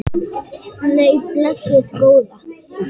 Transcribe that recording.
Nei, blessuð góða.